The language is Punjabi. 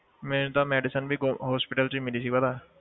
ਮੇਰੀ ਤਾਂ medicine ਵੀ ਗੋ~ hospital 'ਚ ਮਿਲੀ ਸੀ ਪਹਿਲਾਂ